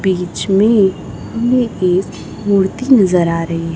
बीच में हमें एक मूर्ति नजर आ रही है।